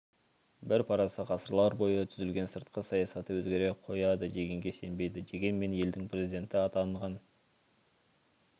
бір парасы ғасырлар бойы түзілген сыртқы саясаты өзгере қояды дегенге сенбейді дегенмен елдің президенті атанған